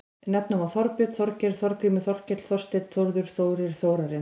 Nefna má Þorbjörn, Þorgeir, Þorgrímur, Þorkell, Þorsteinn, Þórður, Þórir, Þórarinn.